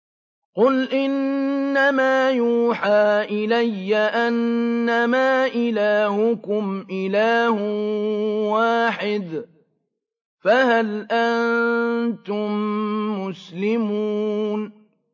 قُلْ إِنَّمَا يُوحَىٰ إِلَيَّ أَنَّمَا إِلَٰهُكُمْ إِلَٰهٌ وَاحِدٌ ۖ فَهَلْ أَنتُم مُّسْلِمُونَ